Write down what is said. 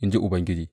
in ji Ubangiji.